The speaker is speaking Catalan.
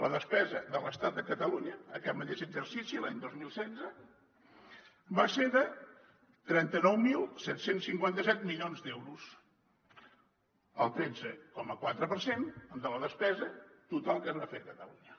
la despesa de l’estat a catalunya aquest mateix exercici l’any dos mil setze va ser de trenta nou mil set cents i cinquanta set milions d’euros el tretze coma quatre per cent de la despesa total que es va fer a catalunya